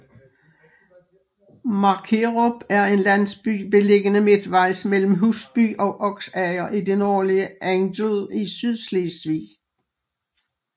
Markerup er en landsby beliggende midtvejs mellem Husby og Oksager i det nordlige Angel i Sydslesvig